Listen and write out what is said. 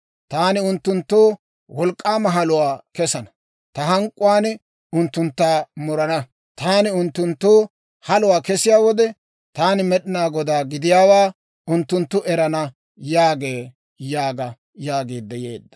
Taani unttunttoo wolk'k'aama haluwaa kesana; ta hank'k'uwaan unttuntta murana. Taani unttunttoo haluwaa kesiyaa wode, taani Med'inaa Godaa gidiyaawaa unttunttu erana» yaagee› yaaga» yaagiidde yeedda.